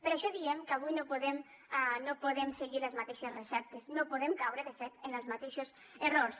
per això diem que avui no podem seguir les mateixes receptes no podem caure de fet en els mateixos errors